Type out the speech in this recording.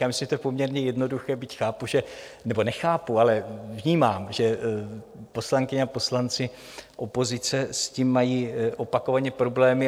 Já myslím, že je to poměrně jednoduché, byť chápu, že... nebo nechápu, ale vnímám, že poslankyně a poslanci opozice s tím mají opakovaně problémy.